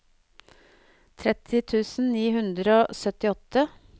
tretti tusen ni hundre og syttiåtte